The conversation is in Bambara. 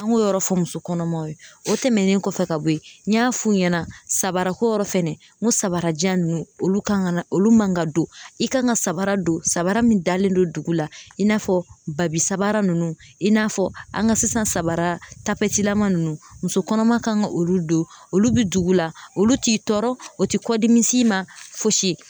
An k'o yɔrɔ fɔ muso kɔnɔmaw ye o tɛmɛnen kɔfɛ ka bɔ yen n y'a f'u ɲɛna sabarako yɔrɔ fɛnɛ n ko sabarajan ninnu olu kan ka olu man ka don i kan ka sabara don sanbara min dalen don dugu la i n'a fɔ babi sanbara ninnu i n'a fɔ an ka sisan sanbara tapilama ninnu muso kɔnɔma kan ka olu don olu bi dugu la olu t'i tɔɔrɔ o ti kɔdimi s'i ma fosi